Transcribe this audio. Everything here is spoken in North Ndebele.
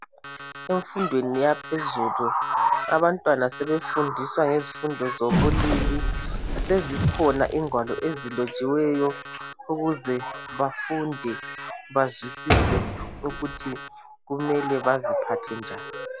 Emfundweni yaphezulu abantwana sebefundiswa ngezifundo zobulili . Sezikhona ingwalo ezilotshiweyo ukuze bafunde bazwisise ukuthi kumele baziphathe njani